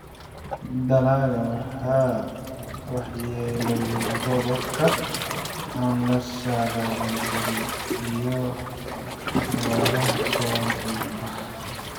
Dalagga waxaa waxyeelleeyay roobabka aan la saadaalin karin iyo abaaraha soo noqnoqda.